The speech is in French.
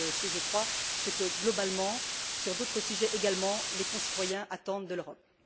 C'est je crois ce que globalement, sur d'autres sujets également, les concitoyens attendent de l'Europe.